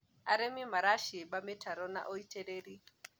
arĩmi maracimba mitaro na ũitiriri